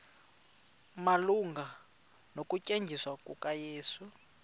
malunga nokuthanjiswa kukayesu